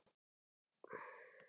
Megum við þá bara fara?